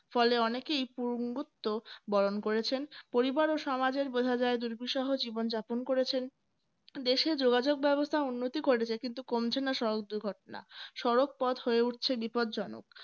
ফলে অনেকেই . বরণ করেছেন পরিবার ও সমাজের বোঝা যায় দুর্বিসহ জীবন যাপন করেছেন দেশে যোগাযোগব্যবস্থা উন্নতি ঘটেছে কিন্তু কমছে না সড়ক দুর্ঘটনা সড়ক পথ হয়ে উঠছে বিপদজনক